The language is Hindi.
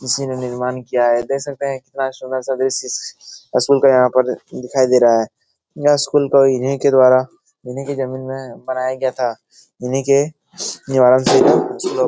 किसी ने निर्माण किया है देख सकते है कितना सूंदर सा दृश्य स्कूल का यहाँ पर दिखाई दे रहा है यह स्कूल का इन्ही के द्वारा इन्ही की ज़मीन मे बनाया गया था इन्ही के --